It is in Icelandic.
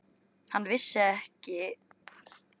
Hann vissi sem var að læri var uppáhaldsmatur Stjána.